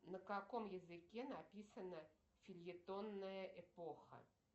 на каком языке написана фельетонная эпоха